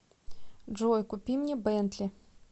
джой купи мне бентли